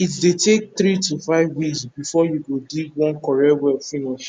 it dey take three to five weeks before u go dig one correct well finish